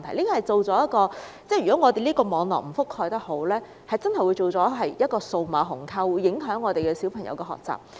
如果我們的網絡覆蓋得不夠好，真的會造成數碼鴻溝，影響小朋友學習。